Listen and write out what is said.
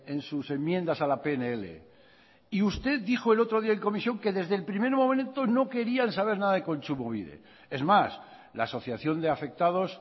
en sus enmiendas a la pnl y usted dijo el otro día en comisión que desde el primer momento no querían saber nada kontsumobide es más una asociación de afectados